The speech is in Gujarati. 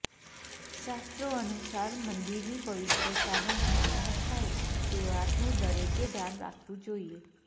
શાસ્ત્રોનુસાર મંદિરની પવિત્રતાનો ભંગ ન થાય તે વાતનું દરેકે ધ્યાન રાખવું જોઈએ